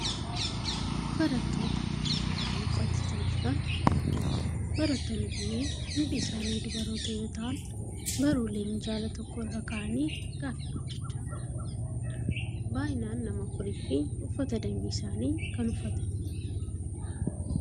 Barattoota walii isaanii qo'achiisaa jiran argina. Barattoonni kunneen hundi isaanii dubaroota yoo ta'an, baruulee minjaala tokko irra kaa'anii gaaffii hojjechaa kan jiranidha. Baay'inaan nama afurii fi uffata dambii isaanii kan uffatanii jiranidha.